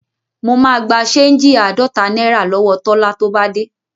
Mo máa gba ṣéńjì àádọ́ta náírà lọ́wọ Tọ́lá tó bá dé.